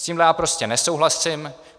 S tím já prostě nesouhlasím.